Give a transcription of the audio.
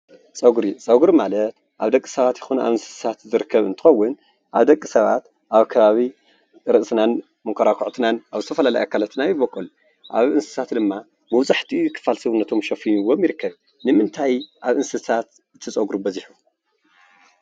ፀጉሪ፦ ፀጉሪ ማለት አብ ደቂ ሰባት ይኹን አብ እንስሳት ዝርከብ እንትኸውን አብ ደቂ ሰባት አብ ከባቢ ርእስናን መኮራኩዕትናን አብ ዝተፈላለዩ አካላትና ይቦቁል። አብ እንስሳት ድማ መብዛሕትኡ ክፋል ሰውነቶም ሸፊንዎም ይርከብ። ንምንታይ አብ እንስሳት እቲ ፀጉሪ በዚሑ?